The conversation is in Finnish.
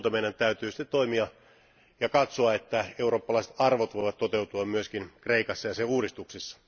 Ilman muuta meidän täytyy sitten toimia ja katsoa, että eurooppalaiset arvot voivat toteutua myöskin Kreikassa ja sen uudistuksissa.